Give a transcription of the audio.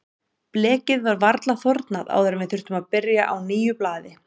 Blekið var varla þornað áður en við þurftum að byrja á nýju blaði.